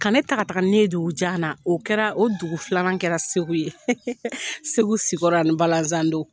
Ka ne taga taga ne ye dugu jan na, o kɛra o dugu filanan kɛra Segu ye. Segu sikɔrɔ ani balazan don.